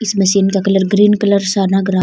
इस मशीन का colour green colour सा लग रा।